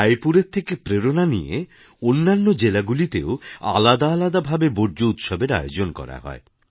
রায়পুরের থেকে প্রেরণা নিয়ে অন্যান্য জেলাগুলিতেও আলাদা আলদা ভাবে বর্জ্য উৎসবের আয়োজন করা হয়